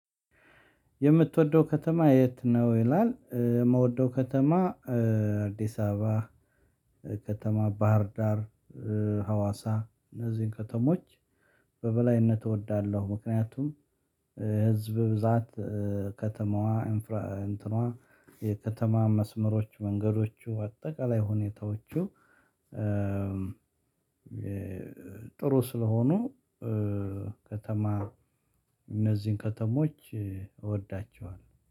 የምትወደው ከተማ የት ነው? ይላል የምትወደው ከተማ አዲስ አበባ ከተማ ባህር ዳር ሀዋሳ እነዚህን ከተሞች በበላይነት እወዳለሁ። ምክንያቱም ህዝብ ብዛት ከተማዋ እንትኗ የከተማ መስመሮች መንገዶቹ በአጠቃላይ ሁኔታዎቹ። ጥሩ ስለሆኑ ከተማ እነዚህን ከተሞች እወዳቸዋለሁ